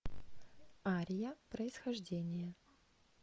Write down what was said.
ария происхождение